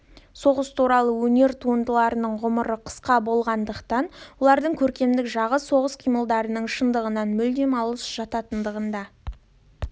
соғыс туралы өнер туындыларының ғұмыры қысқа болатындығы олардың көркемдік жағы соғыс қимылдарының шындығынан мүлдем алыс жататындығында